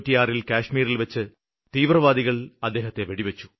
1996ല് കാശ്മീരില്വച്ച് തീവ്രവാദികള് അദ്ദേഹത്തെ വെടിവെച്ചു